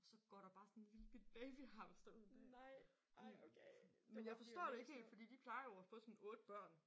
Så går der bare sådan en lille bitte babyhamster ud der. Men jeg forstår det ikke helt fordi de plejer jo at få sådan 8 børn